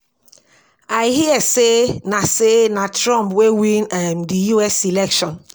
I hear say na say na Trump wey win um the US election.